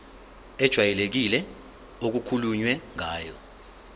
ejwayelekile okukhulunywe ngayo